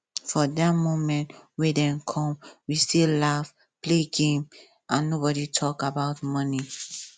for die minute wey dem come we still laugh play game and nobody talk about money